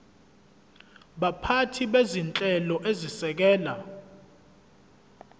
baphathi bezinhlelo ezisekela